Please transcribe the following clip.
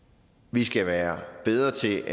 vi skal være bedre til